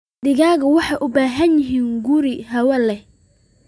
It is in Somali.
Digaagga waxay u baahan yihiin guri hawo wanaagsan leh.